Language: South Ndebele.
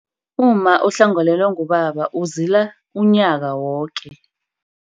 Umma ohlangakalelwe ngubaba uzola umnyaka woke.